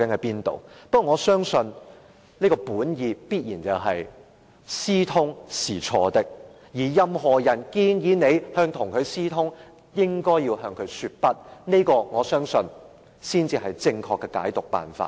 不過，我相信你本意必然是認為私通是錯的，任何人建議自己跟對方私通，也應該向他說不，我相信這才是正確的處理辦法。